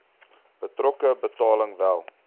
betrokke betaling wel